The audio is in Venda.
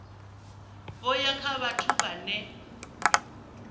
vho ya kha vhathu vhane